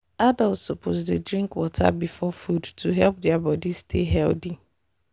adults suppose dey drink water before food to help their body stay healthy.